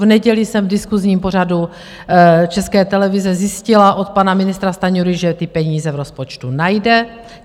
V neděli jsem v diskusním pořadu České televize zjistila od pana ministra Stanjury, že ty peníze v rozpočtu najde.